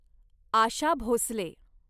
Asha Bhosle